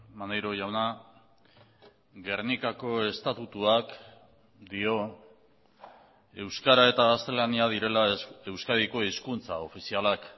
maneiro jauna gernikako estatutuak dio euskara eta gaztelania direla euskadiko hizkuntza ofizialak